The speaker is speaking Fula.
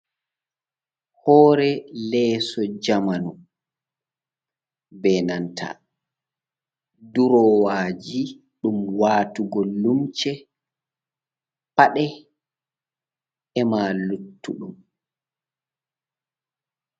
Hoore leeso jamanu, be nanta durowaji ɗum watugo lumse paɗe e ma luttuɗum.